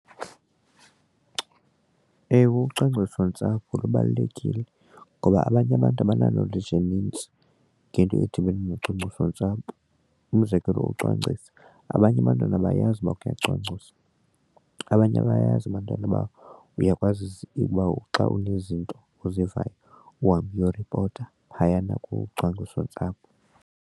Ewe, ucwangcisontsapho lubalulekile ngoba abanye abantu abana-knowledge enintsi ngento edibene nocwangcisontsapho. Umzekelo, ucwangcisa abanye abantwana abayazi ukuba kuyacwangciswa, abanye abayazi abantwana uba uyakwazisa ukuba xa unezinto ozivayo uhambe uyoripota phayana kucwangcisontsapho.